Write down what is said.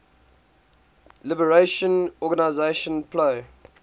liberation organization plo